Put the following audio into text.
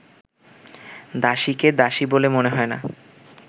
দাসীকে দাসী বলে মনে হয় না